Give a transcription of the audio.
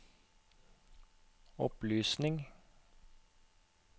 opplysning